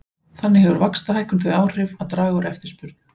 Þannig hefur vaxtahækkun þau áhrif að draga úr eftirspurn.